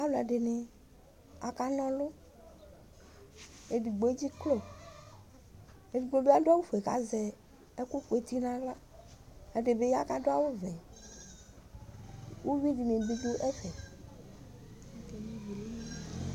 Alʋ ɛdini aka na ɔlʋ edigbo edziklo edigno bi adʋ awʋfue kʋ azɛ ɛkʋkʋ eti nʋ aɣla ɛdi bi ya kʋ adʋ awʋvɛ ʋvi dini bi dʋ ɛfɛ